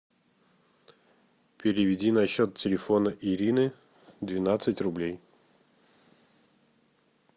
переведи на счет телефона ирины двенадцать рублей